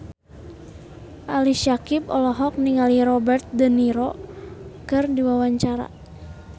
Ali Syakieb olohok ningali Robert de Niro keur diwawancara